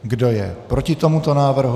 Kdo je proti tomuto návrhu?